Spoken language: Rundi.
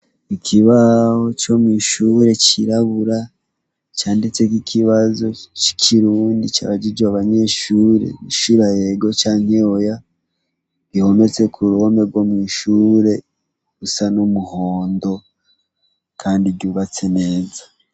Ikibaho co mw'ishure cirabura, canditseko ikibazo c'ikirundi cabajijwe abanyeshure, bishura ego canke oya, gihometse k'uruhome rwo kw'ishure, rusa n'umuhondo, kandi ryubatse neza.